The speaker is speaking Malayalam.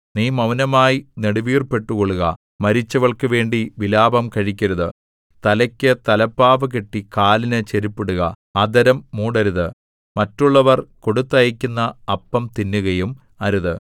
നീ മൗനമായി നെടുവീർപ്പിട്ടുകൊള്ളുക മരിച്ചവൾക്കുവേണ്ടി വിലാപം കഴിക്കരുത് തലയ്ക്കു തലപ്പാവു കെട്ടി കാലിന് ചെരിപ്പിടുക അധരം മൂടരുത് മറ്റുള്ളവർ കൊടുത്തയയ്ക്കുന്ന അപ്പം തിന്നുകയും അരുത്